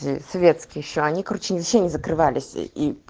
цветки ещё они короче ничего не закрывались